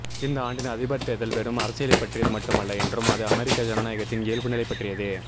இந்த ஆண்டின் அதிபர் தேர்தல் வெறும் அரசியலைப் பற்றியது மட்டுமல்ல என்றும் அது அமெரிக்க ஜனநாயகத்தின் இயல்புநிலைப் பற்றியது